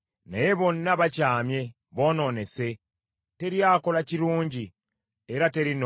Naye bonna bakyamye boonoonese; teri akola kirungi, era teri n’omu.